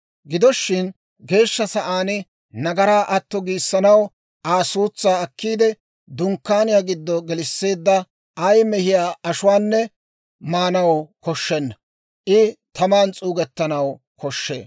Gido shin Geeshsha Sa'aan nagaraa atto giissanaw Aa suutsaa akkiide, Dunkkaaniyaa giddo gelisseedda ay mehiyaa ashuwaanne maanaw koshshenna; I taman s'uugettanaw koshshee.